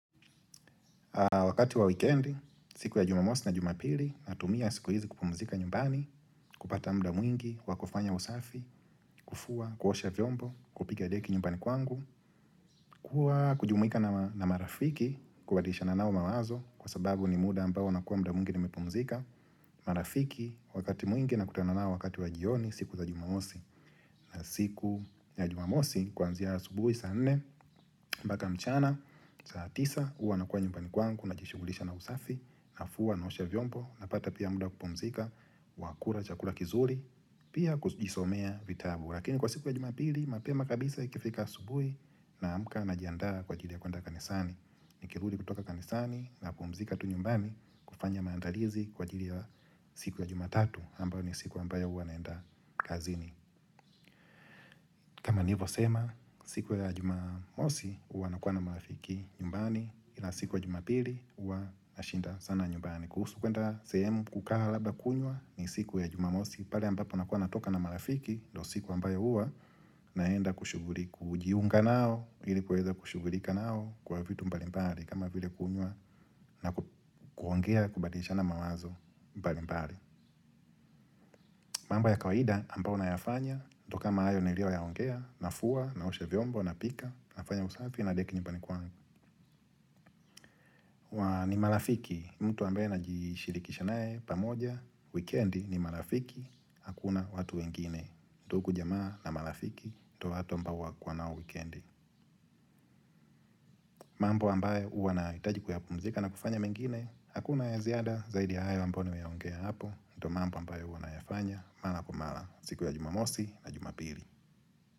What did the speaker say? Wakati wa weekendi, siku ya jumamosi na jumapili, natumia siku hizi kupumzika nyumbani, kupata mda mwingi, wakufanya usafi, kufua, kuosha vyombo, kupiga deki nyumbani kwangu Kwa kujumuika na marafiki, kubadisha na nao mawazo, kwa sababu ni muda ambao na kuwa mda mwingi nimepumzika marafiki, wakati mwingi na kutana nao wakati wa jioni, siku za jumamosi na siku ya jumamosi, kwanzia subuhi, saa nne, mbaka mchana, saa tisa, uwa nakua nyumbani kwangu najishugulisha na usafi, na fua, naosha vyombo, na pata pia muda kupumzika, wakula, chakula kizuri, pia kujishomea vitabu. Lakini kwa siku ya jumapili, mapema kabisa ikifika subuhi na amka na jiandaa kwa ajili ya kwenda kanisani. Nikirudi kutoka kanisani na kupumzika tu nyumbani kufanya maandalizi kwa ajili ya siku ya jumatatu, ambayo ni siku ambayo uwa naenda kazini. Kama nivo sema, siku ya jumamosi uwa nakuwa na marafiki nyumbani, ila siku ya jumapili uwa nashinda sana nyumbani. Kuhusu kwenda sehemu kukaa labda kunywa ni siku ya jumamosi, pale ambapo nakuwa natoka na marafiki, ndo siku ambayo uwa naenda kushugulika kujiunga nao, ilikuweza kushugulika nao kwa vitu mbali mbali kama vile kunywa na kuongea kubadisha na mawazo mbali mbali. Mambo ya kawaida ambao nafanya, ndio kama hayo nilio ya ongea, nafua, naosha vyombo, na napika na piga deki nyubani kwangu. Wa ni marafiki, mtu ambaye na jishirikisha naye pamoja, wikendi ni marafiki, hakuna watu wengine. Ndugu jamaa na marafiki, ndio watu ambao wakua nao wikendi mambo ambayo uwanahitaji kuyapumzika na kufanya mengine, hakuna ya ziada zaidi ya hayo ambao niwe ya ongea hapo, ndo mambo ambayo unayafanya, mara kwa mara siku ya jumamosi na jumapili.